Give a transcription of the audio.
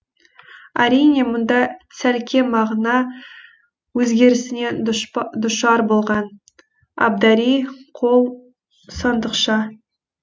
әрине мұнда сәлкем мағына өзгерісіне душар болған абдари қол сандықша